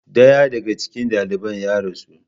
Daya daga cikin daliban ya rasu.